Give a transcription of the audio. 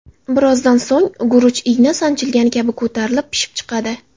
Birozdan so‘ng guruch igna sanchilgan kabi ko‘tarilib pishib chiqadi.